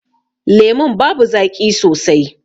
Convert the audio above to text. Lemun babu zaƙi sosai.